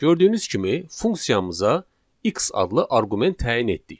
Gördüyünüz kimi funksiyamıza x adlı arqument təyin etdik.